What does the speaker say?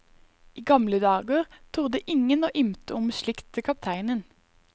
I gamle dager torde ingen å ymte om slikt til kapteinen.